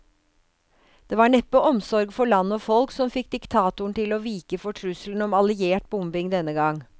Det var neppe omsorg for land og folk som fikk diktatoren til å vike for trusselen om alliert bombing denne gang.